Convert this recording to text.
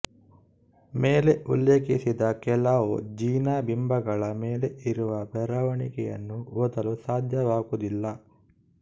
ಮೇಲೆ ಉಲ್ಲೇಖಿಸಿದ ಕೆಲವು ಜಿನ ಬಿಂಬಗಳ ಮೇಲೆ ಇರುವ ಬರವಣಿಗೆಯನ್ನು ಓದಲು ಸಾಧ್ಯವಾಗುವುದಿಲ್ಲ